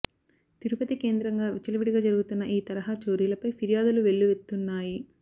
తిరుపతి కేంద్రంగా విచ్చలవిడిగా జరుగుతున్న ఈ తరహా చోరీలపై ఫిర్యాదులు వెల్లువెత్తున్నాయి